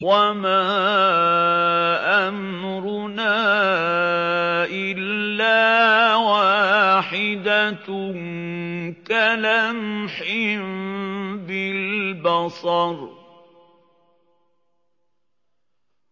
وَمَا أَمْرُنَا إِلَّا وَاحِدَةٌ كَلَمْحٍ بِالْبَصَرِ